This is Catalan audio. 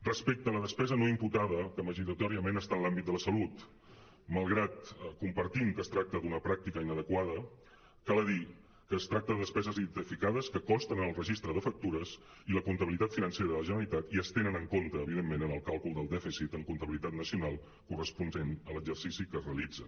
respecte a la despesa no imputada que majoritàriament està en l’àmbit de la sa·lut malgrat que compartim que es tracta d’una pràctica inadequada cal dir que es tracta de despeses identificades que consten en el registre de factures i la comptabi·litat financera de la generalitat i es tenen en compte evidentment en el càlcul del dèficit en comptabilitat nacional corresponent a l’exercici en què es realitzen